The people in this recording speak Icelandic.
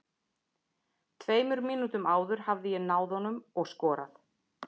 Tveimur mínútum áður hefði ég náð honum og skorað.